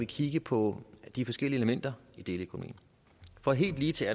kigge på de forskellige elementer i deleøkonomien for helt ligetil